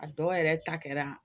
A dɔw yɛrɛ ta kɛra